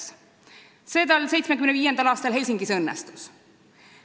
See tal 1975. aastal Helsingis ka õnnestus.